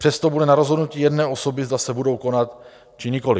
Přesto bude na rozhodnutí jedné osoby, zda se budou konat, či nikoliv.